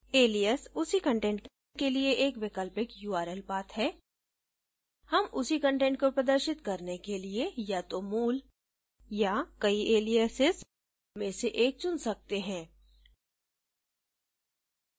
alias उसी content के लिए एक वैकल्पिक url path है हम उसी कंटेंट को प्रदर्शित करने के लिए या तो मूल या कई aliases में से एक चुन सकते हैं